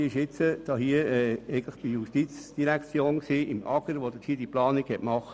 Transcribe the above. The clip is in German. Diese ist jetzt beim AGR in der JGK angesiedelt, das eine kluge Planung vorgenommen hat.